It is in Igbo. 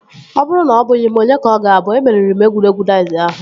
Ọ bụrụ na ọbụghị m onye ka ọ ga-abụ? Emeriri m egwuregwu daiz ahụ